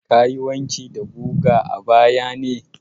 Ka yi wanki da guga a baya ne?